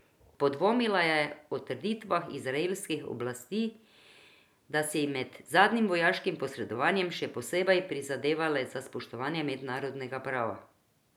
Podvomila je o trditvah izraelskih oblasti, da so si med zadnjim vojaškim posredovanjem še posebej prizadevale za spoštovanje mednarodnega prava.